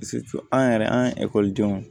an yɛrɛ an ye ekɔlidenw